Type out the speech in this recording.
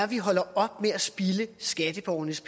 vi holder op med at spilde skatteborgernes